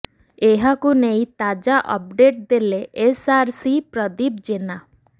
ଏହାକୁ ନେଇ ତାଜା ଅପଡେଟ୍ ଦେଲେ ଏସ୍ଆରସି ପ୍ରଦୀପ ଜେନା